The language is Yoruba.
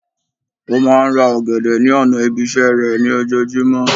Ó máa n ra ògèdè ní ònà ibi isé rè ní ojojúmó